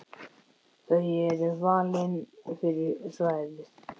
Þau eru valin fyrir svæðið.